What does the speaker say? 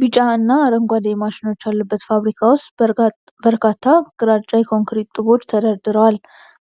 ቢጫ እና አረንጓዴ ማሽኖች ያሉበት ፋብሪካ ውስጥ በርካታ ግራጫ የኮንክሪት ጡቦች ተደርድረዋል።